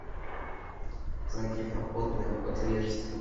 заднепроходное отверстие